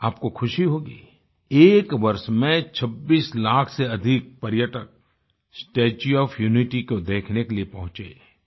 आपको ख़ुशी होगी एक वर्ष में 26 लाख से अधिक पर्यटक स्टेच्यू ओएफ यूनिटी को देखने के लिए पहुँचें